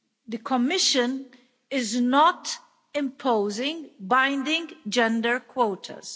The Commission is not imposing binding gender quotas.